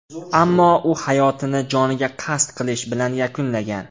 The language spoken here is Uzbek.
Ammo u hayotini joniga qasd qilish bilan yakunlagan.